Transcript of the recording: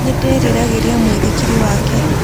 Nĩ ndĩriragĩria mũithikiri wake.